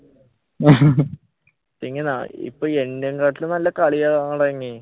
ഇപ്പൊ എന്നേം കാട്ടില് നല്ല കളി